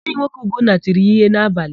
Enyinwoke Ugonna tiri ya íhé n'abalị.